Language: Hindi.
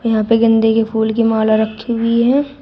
यहां पे गेंदे के फूल की माला रखी हुई है।